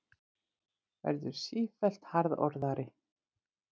Verður sífellt harðorðari.